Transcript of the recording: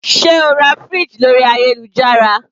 Sé o ra fridge lórí ayélujára?